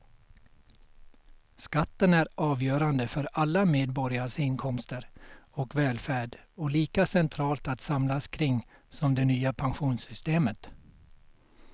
Skatten är avgörande för alla medborgares inkomster och välfärd och lika centralt att samlas kring som det nya pensionssystemet.